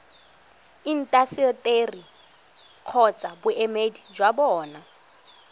intaseteri kgotsa boemedi jwa bona